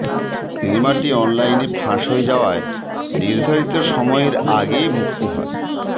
সিনেমাটি অনলাইনে ফাঁস হয়ে যাওয়ায় নির্ধারিত সময়ের আগে মুক্তি হয়